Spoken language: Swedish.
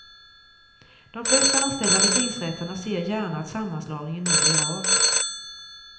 De flesta anställda vid tingsrätterna ser gärna att sammanslagningen nu blir av.